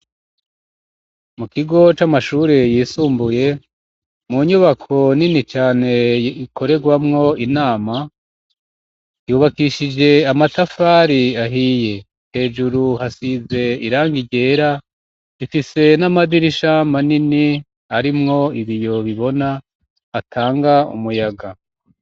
Mu kigo c'amashure yisumbuye mu nyubako nini cane ikorerwamwo inama yubakishije amatafari ahiye hejuru hasize iranga ryera ifise n'amadirishama nini arimwo ibiyobibona atanga umuyaga.